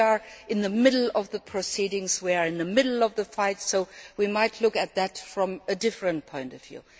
We are in the middle of the proceedings, we are in the middle of the fight, so we might see it from a different point of view.